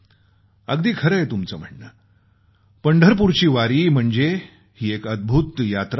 अगदी खरंय तुमचं म्हणणं पंढरपूरची वारी म्हणजे ही एक अद्भूत यात्रा आहे